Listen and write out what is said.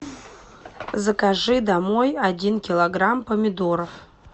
закажи домой один килограмм помидоров